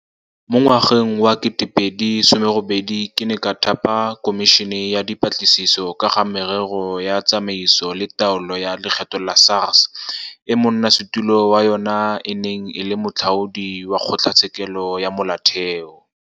Mo ngwageng wa 2018 ke ne ka thapa Khomišene ya Dipatlisiso ka ga Merero ya Tsamaiso le Taolo ya Lekgetho ya SARS e monnasetulo wa yona e neng e le Moatlhodi wa Kgotlatshekelo ya Molaotheo.